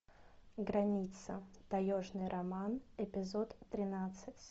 граница таежный роман эпизод тринадцать